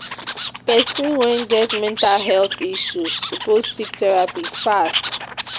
Pesin wey get mental health issue suppose seek therapy fast.